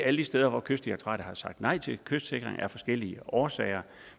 alle de steder hvor kystdirektoratet har sagt nej til kystsikring af forskellige årsager